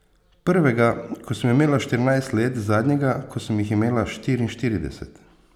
Prvega, ko sem imela štirinajst let, zadnjega, ko sem jih imela štiriinštirideset.